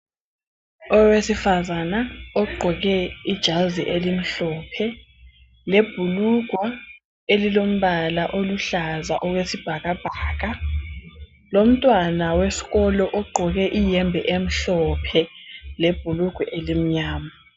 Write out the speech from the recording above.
Owesifazana ogqoke ijazi elimhlophe lebhulugwe elilombala oluhlaza okwesibhakabhaka lomntwana wesikolo ogqoke iyembe emhlophe lebhulugwe elimnyama.